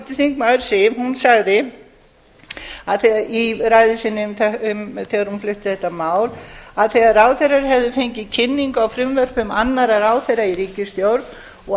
háttvirtur þingmaður siv sagði í ræðu sinni þegar hún flutti þetta mál að þegar ráðherrar hefðu fengið kynningu á frumvörpum annarra ráðherra í ríkisstjórn og